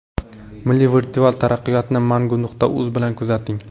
Milliy virtual taraqqiyotni Mangu.uz bilan kuzating!